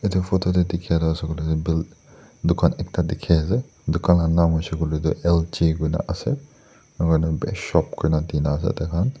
edu photo tae dikhai la ase koilae tu buil dukan ekta dikhiase dukan la nam hoishey koilae tu L_G koina ase enakurna bi shop kuranai dina ase taihan.